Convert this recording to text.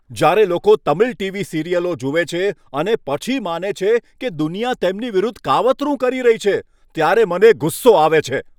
જ્યારે લોકો તમિલ ટી.વી. સિરિયલો જુએ છે અને પછી માને છે કે દુનિયા તેમની વિરુદ્ધ કાવતરું કરી રહી છે, ત્યારે મને ગુસ્સો આવે છે.